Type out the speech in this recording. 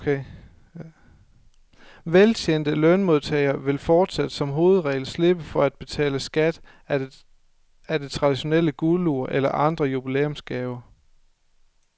Veltjente lønmodtagere vil fortsat som hovedregel slippe for at betale skat af det traditionelle guldur eller andre jubilæumsgaver.